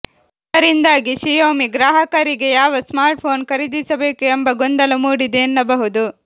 ಇದರಿಂದಾಗಿ ಶಿಯೋಮಿ ಗ್ರಾಹಕರಿಗೆ ಯಾವ ಸ್ಮಾರ್ಟ್ಫೋನ್ ಖರೀದಿಸಬೇಕು ಎಂಬ ಗೊಂದಲ ಮೂಡಿದೆ ಎನ್ನಬಹುದು